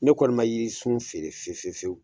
Ne kɔni ma yirisun feere fiye fiye fiyewu !